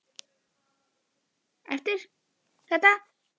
Eftir kvöldmatinn þetta kvöld settist ég inn í setustofuna.